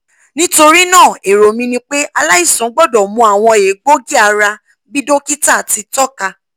nitorinaa ero mi ni pe alaisan gbọdọ mu awọn egboogi-ara bi dokita ti tọka